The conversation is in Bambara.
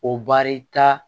O baarita